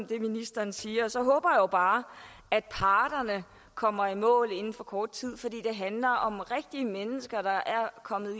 det ministeren siger og så håber jeg jo bare at parterne kommer i mål inden for kort tid for det handler om rigtige mennesker der er kommet